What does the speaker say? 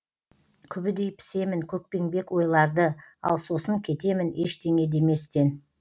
күбідей пісемін көкпеңбек ойларды ал сосын кетемін ештеңе деместен